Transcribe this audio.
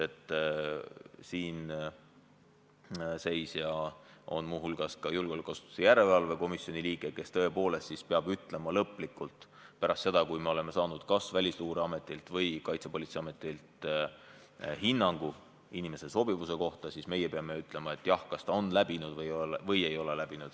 Siinseisja on muu hulgas julgeolekuasutuste järelevalve komisjoni liige, kes peab – pärast seda, kui me oleme saanud kas Välisluureametilt või Kaitsepolitseiametilt hinnangu inimese sobivuse kohta – lõplikult ütlema, kas ta on kontrolli läbinud või ei ole läbinud.